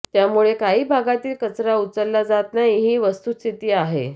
त्यामुळे काही भागातील कचरा उचलला जात नाही ही वस्तूस्थिती आहे